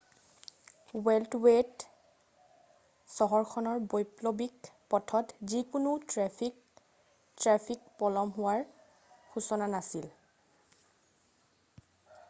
বেল্টৱেত চহৰখনৰ বৈকল্পিক পথত যিকোনো ট্ৰেফিক ট্ৰেফিক পলম হোৱাৰ সূচনা নাছিল৷